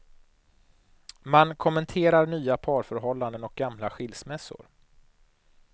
Man kommenterar nya parförhållanden och gamla skilsmässor.